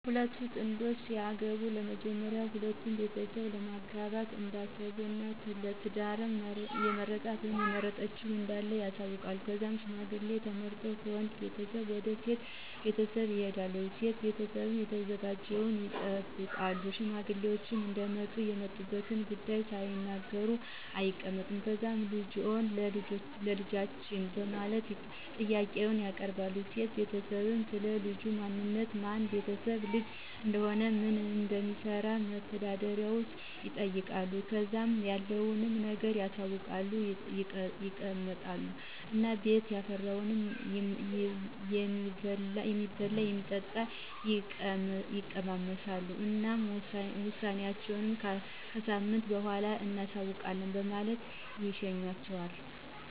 ሁለት ጥንዶች ለመጋባት ሲያስቡ በመጀመሪያ ለሁለቱም ቤተሰብ ለማጋባት እንዳሰቡ እና ለ ትዳር የመረጣት(የመረጠችዉ) እንዳለ ያሳዉቃሉ. ከዛም ሽማግሌ ተመርጠው ከወንድ ቤተሰብ ወደ ሴቷ ቤተሰብ ይልካሉ .የሴቷ ቤተሰብም ተዘጋጅተው ይጠብቃሉ። ሽማግሌዎች እንደመጡ የመጡበትን ጉዳይ ሳይናገሩ አይቀመጡም። ከዛም ልጃችሁን ለ ልጃችን በማለት ጥያቄውን ያቀርባሉ .የሴቷ ቤተሰብም, ስለ ልጁ ማንነት፣ የማን ቤተሰብ ልጅ እንደሆነ፣ ምን እንደሚሰራ(መተዳደሪያው)ይጠይቃሉ .ከዛም ያለዉን ነገር አሳውቀው ይቀመጡ እና ቤት ያፈራውን የሚበላም, የሚጠጣም ይቀማምሱ እና ውሳኔአቸውን ከሳምንት በኋላ እናሳዉቃለን በማለት ይሸኟቸዋል።